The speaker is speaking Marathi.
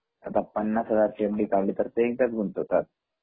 आता पन्नास हजाराचा एफ.डी. काढली तर एकदाच गुंतवतात